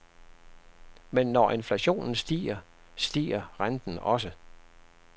Men når inflationen stiger, stiger renten også.